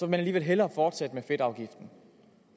man alligevel hellere fortsætte med fedtafgiften